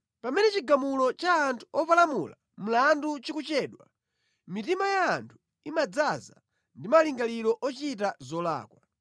Pamene chigamulo cha anthu opalamula mlandu chikuchedwa, mitima ya anthu imadzaza ndi malingaliro ochita zolakwa.